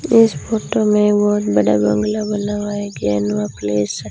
इस फोटो में बहोत बड़ा बंगला बना हुआ है कै नवा प्लेस --